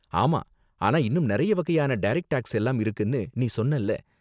ஆமா, ஆனா இன்னும் நறைய வகையான டரக்ட் டேக்ஸ் எல்லாம் இருக்குனு நீ சொன்னல?